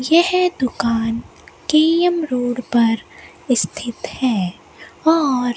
यह दुकान K M road पर स्थित है और--